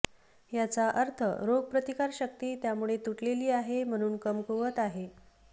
याचा अर्थ रोग प्रतिकारशक्ती त्यामुळे तुटलेली आहे म्हणून कमकुवत आहे